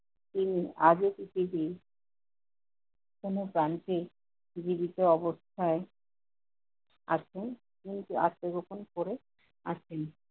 তিনি আজও কি সেই তিনি কোন প্রান্তে নিবেদিত অবস্থায় আছেন। কিন্তু আত্নগোপন করে আছেন।